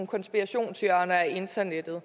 konspirationshjørner af internettet